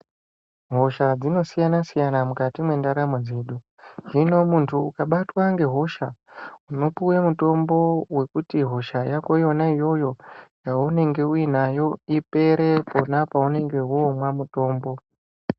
Hosha dzinosiyana siyana mukati mentaramo dzedu, zvino muntu ukabatwe ngehosha unopiwe mutombo wekuti hisha yako yona iyoyo yaunenge uinayo ipere kona paunenge wonwa mutombo.